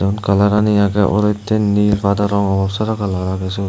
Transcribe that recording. kalarani agey olotte nil pada rongor sada rong ow agey siot.